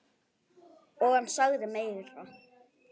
Og hann sagði meira.